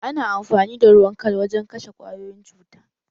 Ana amfani da ruwan kal wajen kashe kwayoyin cuta